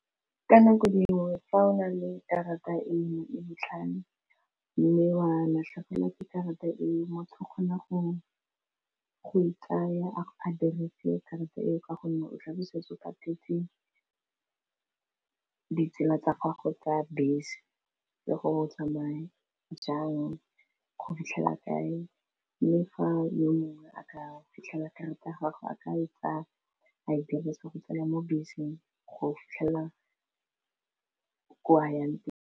Ka nako dingwe fa o na le karata e nngwe e botlhale mme wa latlhegelwa ke karata eo motho o kgona go ikaya akaretse karata eo ka gonne o tlabe o setse o patetse ditsela tsa gago tsa bese le go tsamaya jang go fitlhela kae mme fa le mongwe a ka fitlhela karata ya gago a ka e tsaya a e dirisa go tsena mo beseng go fitlhelela kwa a yang teng.